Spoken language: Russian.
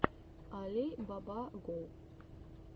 али баба го